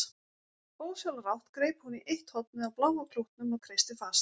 Ósjálfrátt greip hún í eitt hornið á bláa klútnum og kreisti fast.